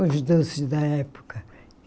Os doces da época.